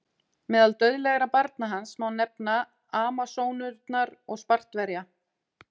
Meðal dauðlegra barna hans má nefna Amasónurnar og Spartverja.